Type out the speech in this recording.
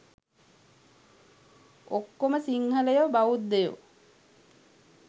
ඔක්කොම සිංහලයො බෞද්ධයෝ